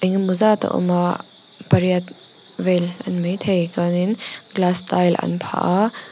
engemaw zat a awm a pariat vel a ni maithei chuanin glass tile an phah a.